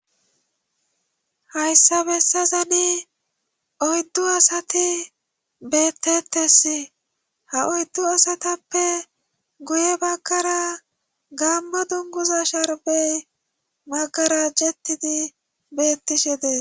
Hayssa bessazani oyddu asati bettettes ha oyddu asatappe guye baggara gammo dunguza sharbey maggara jettidi bettishe dees.